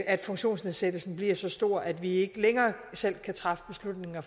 at funktionsnedsættelsen bliver så stor at vi ikke længere selv kan træffe beslutninger